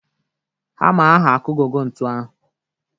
Hama ahụ akugọgo ntu ahụ.